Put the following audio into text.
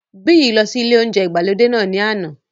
Biyi lọ sí ilé óúnjẹ ìgbàlódé náà ní àná